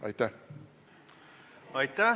Aitäh!